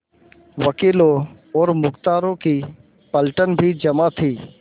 वकीलों और मुख्तारों की पलटन भी जमा थी